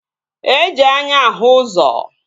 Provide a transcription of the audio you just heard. E ji anya ahụ ụzọ